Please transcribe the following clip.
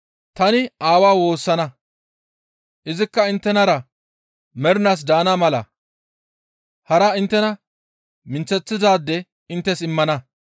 Tani Aawa woossana; Izikka inttenara mernaas daana mala hara inttena minththeththanaade inttes immana.